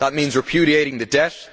That means repudiating the debt.